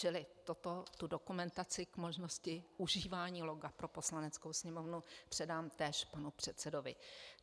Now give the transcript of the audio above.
Čili tuto dokumentaci k možnosti užívání loga pro Poslaneckou sněmovnu předám též panu předsedovi.